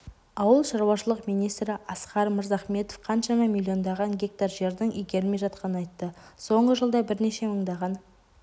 ауылшаруашылық министрі асқар мырзахметов қаншама миллиондаған гектар жердің игерілмей жатқанын айтты соңғы жылда бірнеше мыңдаған